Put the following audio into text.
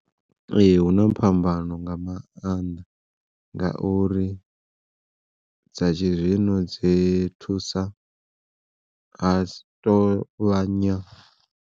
Ee hu na phambano nga mannḓa ngauri dza tshi zwino dzi thusa ha si vhanya.